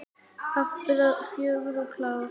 Afburða fögur og klár.